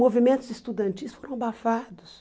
Movimentos estudantis foram abafados.